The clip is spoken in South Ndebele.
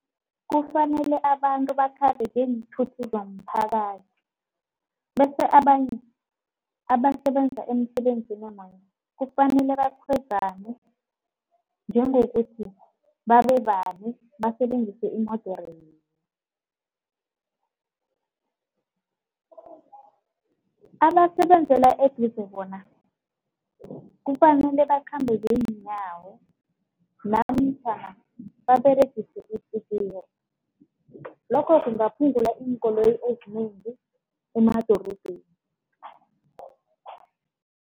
Kufanele abantu bakhambe ngeenthuthi zomphakathi, bese abanye abasebenza emsebenzini kufanele bakhwezane njengokuthi babe bane basebenzise iimodere yinye. Abasebenzela eduze bona kufanele bakhambe ngeenyawo namtjhana baberegise itsikiri. Lokho kungaphungula iinkoloyi ezinengi emadorobheni.